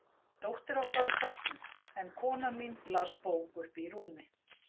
Dóttir okkar var sofnuð, en kona mín las bók uppi í rúmi.